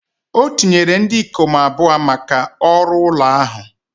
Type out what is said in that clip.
O tinyere ndị ikom abụọ maka ọrụ ụlọ ahụ